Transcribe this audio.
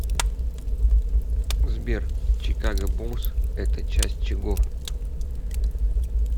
сбер чикаго буллс это часть чего